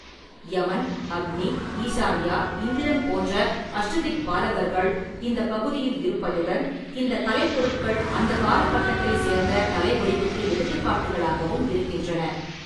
யமன், அக்னி, ஈசான்யா, இந்திரன் போன்ற அஷ்டதிக்பாலகர்கள் இந்தப் பகுதியில் இருப்பதுடன் இந்தக் கலைப்பொருட்கள் அந்தக் காலகட்டத்தைச் சேர்ந்த கலை வடிவுக்கு எடுத்துக்காட்டுகளாகவும் இருக்கின்றன.